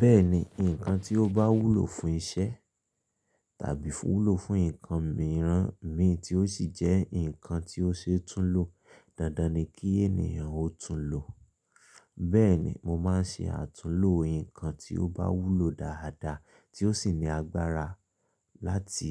Bẹ́ẹ̀ni, ǹkan tí ó bá wúlò fún iṣẹ́ tàbí wúlò fún ǹkan mìíràn mi, tí ó sì jẹ́ ǹkan tí ó ṣe túnlo, dandan ni kí ènìyàn ó túnlo. Bẹ́ẹ̀ni, mo máa ń ṣe àtúnlo ǹkan tí ó bá wúlò dáadáa tí ó sì ní agbára láti